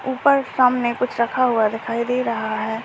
ऊपर सामने कुछ रखा हुआ दिखाई दे रहा है।